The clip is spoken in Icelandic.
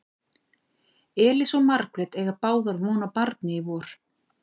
Elísa og Margrét eiga báðar von á barni í vor.